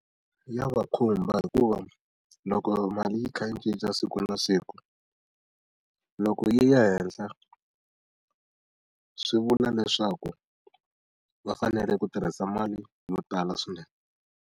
Ya va khumba hikuva loko mali yi kha yi cinca siku na siku, loko yi ya henhla swi vula leswaku va fanele ku tirhisa mali yo tala swinene.